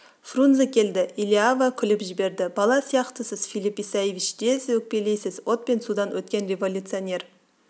фрунзе келді элиава күліп жіберді бала сияқтысыз филипп исаевич тез өкпелейсіз от пен судан өткен революционер